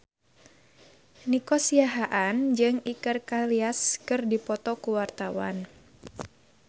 Nico Siahaan jeung Iker Casillas keur dipoto ku wartawan